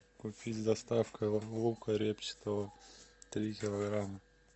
купить с доставкой лука репчатого три килограмма